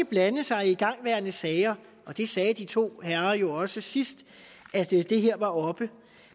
blande sig i igangværende sager det sagde de to herrer jo også sidst det her var oppe